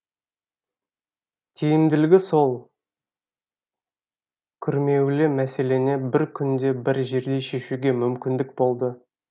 тиімділігі сол күрмеулі мәселені бір күнде бір жерде шешуге мүмкіндік болды